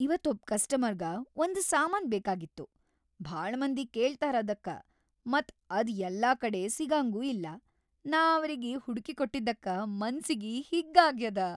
ಇವತ್‌ ಒಬ್ ಕಸ್ಟಮರ್‌ಗ ಒಂದ್‌ ಸಾಮಾನ್‌ ಬೇಕಾಗಿತ್ತು ಭಾಳ ಮಂದಿ ಕೇಳ್ತಾರದಕ್ಕ ಮತ್‌ ಅದ್‌ ಯಲ್ಲಾಕಡೆ ಸಿಗಂಗೂ ಇಲ್ಲ, ನಾ ಅವ್ರಗಿ ಹುಡಕಿಕೊಟ್ಟಿದ್ದಕ್ಕ ಮನ್ಸಿಗಿ ಹಿಗ್ಗ್ ಆಗ್ಯಾದ.